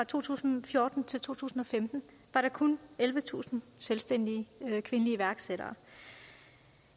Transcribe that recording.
to tusind og fjorten og to tusind og femten var der kun ellevetusind selvstændige kvindelige iværksættere